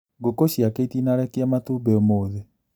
Ngũkũ ciake itinarekia matumbĩ ũmũthĩ